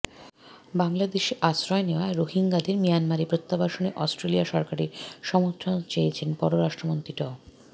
বাংলাদেশে আশ্রয় নেওয়া রোহিঙ্গাদের মিয়ানমারে প্রত্যাবাসনে অস্ট্রেলিয়া সরকারের সমর্থন চেয়েছেন পররাষ্ট্রমন্ত্রী ড